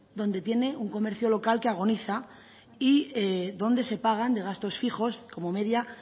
donde tiene un comercio local que agoniza y donde se pagan de gastos fijos como media